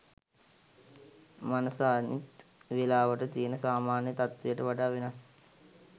මනස අනිත් වෙලාවට තියෙන සාමාන්‍ය තත්වයට වඩා වෙනස්